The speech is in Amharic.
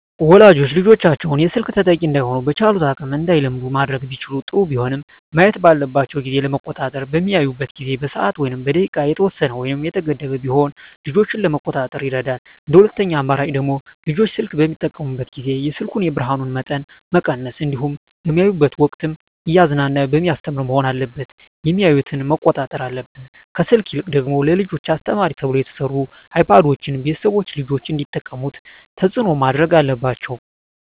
ወላጆች ልጆቻቸውን የስልክ ተጠቂ እዳይሆኑ በቻሉት አቅም እንዳይለምዱ ማድረግ ቢችሉ ጥሩ ቢሆንም ማየት ባለባቸው ጊዜ ለመቆጣጠር በሚያዩበት ጊዜ በሰዓት ወይም በደቂቃ የተወሰነ ወይም የተገደበ ቢሆን ልጆችን ለመቆጣጠር ይረዳል እንደ ሁለተኛ አማራጭ ደግሞ ልጆች ስልክ በሚጠቀሙበት ጊዜ የስልኩን የብርሀኑን መጠን መቀነስ እንዲሁም በሚያዩበት ወቅትም እያዝናና በሚያስተምር መሆን አለበት የሚያዮትን መቆጣጠር አለብን። ከስልክ ይልቅ ደግሞ ለልጆች አስተማሪ ተብለው የተሰሩ አይፓዶችን ቤተሰቦች ልጆች እንዲጠቀሙት ተፅዕኖ ማድረግ አለባቸው።